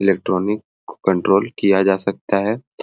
Electronic control किया जा सकता है।